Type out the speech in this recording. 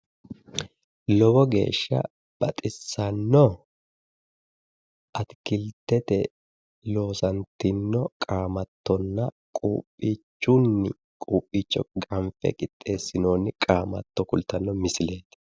Lowo geeshsha baxissanno atikiltete loosantinno qaamattonna quuphiichunni quuphiicho ganfe qixxeessinoonni qaamatto kultanno misileeti.